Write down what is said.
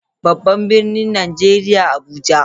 Babban birnin Najeriya Abuja.